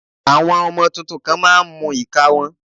Àwọn ọmọ tuntun kan má a ń mú ìka wọn